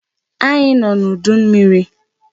Anyị nọ n'udu mmiri.